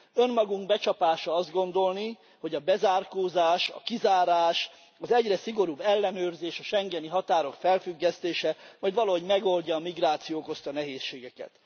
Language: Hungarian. Önmagunk becsapása azt gondolni, hogy a bezárkózás, a kizárás, az egyre szigorúbb ellenőrzés, a schengeni határok felfüggesztése majd valahogy megoldja a migráció okozta nehézségeket.